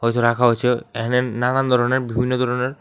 কিছু রাখা হয়েছে এহানে নানান ধরনের বিভিন্ন ধরনের।